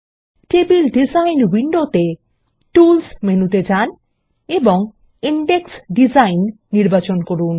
table design উইন্ডোতে tools মেনুতে যান এবং ইনডেক্স ডিজাইন নির্বাচন করুন